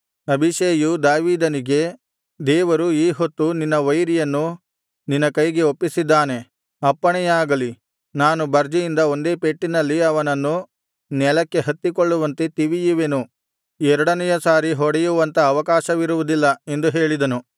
ಅಬೀಷೈಯು ದಾವೀದನಿಗೆ ದೇವರು ಈ ಹೊತ್ತು ನಿನ್ನ ವೈರಿಯನ್ನು ನಿನ್ನ ಕೈಗೆ ಒಪ್ಪಿಸಿದ್ದಾನೆ ಅಪ್ಪಣೆಯಾಗಲಿ ನಾನು ಬರ್ಜಿಯಿಂದ ಒಂದೇ ಪೆಟ್ಟಿನಲ್ಲಿ ಅವನನ್ನು ನೆಲಕ್ಕೆ ಹತ್ತಿಕೊಳ್ಳುವಂತೆ ತಿವಿಯುವೆನು ಎರಡನೆಯ ಸಾರಿ ಹೊಡೆಯುವಂತ ಅವಕಾಶವಿರುವುದಿಲ್ಲ ಎಂದು ಹೇಳಿದನು